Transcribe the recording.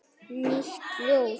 Nýtt ljóð.